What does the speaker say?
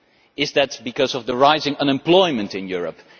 Is it because of the rising unemployment in Europe?